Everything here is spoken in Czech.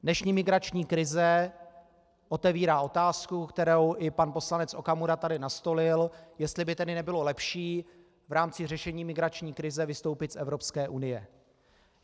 Dnešní migrační krize otevírá otázku, kterou i pan poslanec Okamura tady nastolil, jestli by tedy nebylo lepší v rámci řešení migrační krize vystoupit z Evropské unie.